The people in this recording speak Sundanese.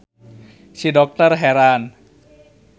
Si dokter heran.